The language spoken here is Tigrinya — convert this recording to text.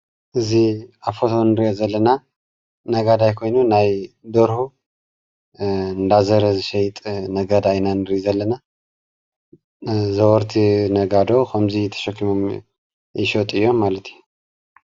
እዚ ኣብ ፎቶ እንሪኦ ዘሎና ነጋዳይ ኮይኑ ናይ ደርሆ እናዘረ ዝሸይጥ ነጋዳይ ኢና ንርኢ ዘለና ። ዘወርቲ ነጋዶ ከምዚ ተሸኪሞም ይሸጡ እዮም ማለት እዩ።